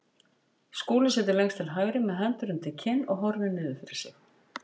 Skúli situr lengst til hægri með hendur undir kinn og horfir niður fyrir sig.